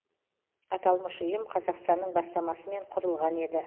аталмыш ұйым қазақстанның бастамасымен құрылған еді